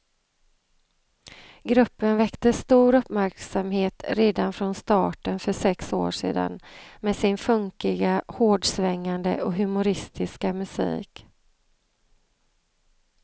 Gruppen väckte stor uppmärksamhet redan från starten för sex år sedan med sin funkiga, hårdsvängande och humoristiska musik.